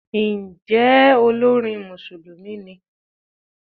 Ǹjẹ́ olórin Mùsùlùmí ni?